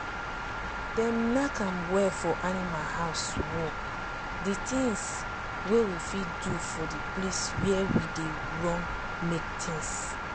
dem nack am well for animal house wall d tins wey we fit do for d place where we dey run milk tins.